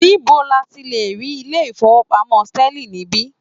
Níbo ni a ti lè rí ilé-ìfowópamọ́ Sterling níbí?